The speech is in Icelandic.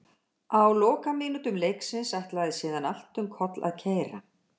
Á lokamínútum leiksins ætlaði síðan allt um koll að keyra.